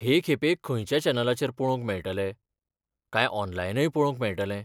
हे खेपे खंयच्या चॅनलाचेर पळोवंक मेळटले, काय ऑनलायनय पळोवंक मेळटले?